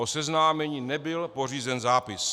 O seznámení nebyl pořízen zápis.